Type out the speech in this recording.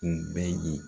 U bɛɛ ye